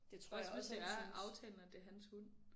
Også hvis det er aftalen at det hans hund